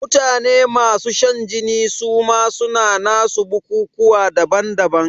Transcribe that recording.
Mutane masu shan jini suma suna nasu bukukuwa daban daban